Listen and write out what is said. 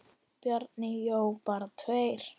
Bjarni Jó: Bara tveir?!